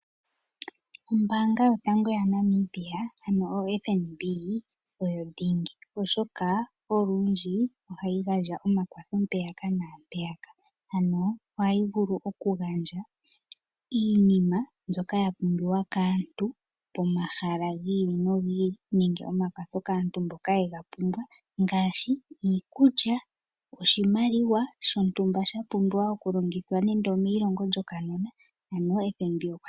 Ombaanga yotango yaNamibia otayi oyo dhingi, oshoka olundji ohayi gandja omakwatho mpeyaka naampeyaka, ano ohayi vulu okugandja iinima mbyoka ya pumbiwa kaantu pomahala gi ili nogi ili nenge omakwatho kaantu mboka ye ga pumbwa ngaashi iikulya, oshimaliwa shontumba sha pumbiwa okulongithwa nando omeilongo lyokanona.